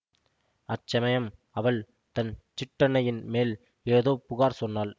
அச்சமயம் அவள் தன் சிற்றன்னையின் மேல் ஏதோ புகார் சொன்னாள்